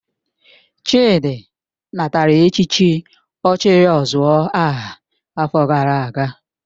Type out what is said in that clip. Chidi natara echichi ochiri ozuor aha afo gara aga